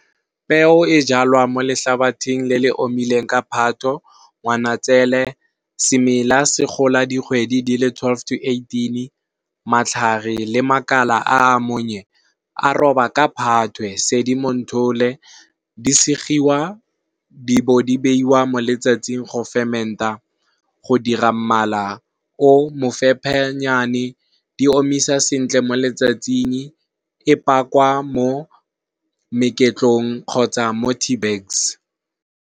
Peo e jalwa mo letlhabathing le le omileng ka phato, ngwanatsele semela se gola dikgwedi le twelve to eighteen. Matlhare le makala a monye a roba ka phatwe, sedimonthole di segiwa di bo di beiwa mo letsatsing go fementa go dira mmala o mo fephenyane di omisa sentle mo letsatsing e pakwa mo meketlong kgotsa mo tea bags.